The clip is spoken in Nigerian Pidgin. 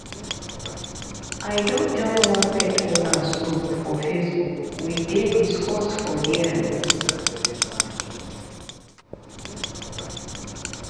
i don join one pet owners group for facebook we dey discuss for there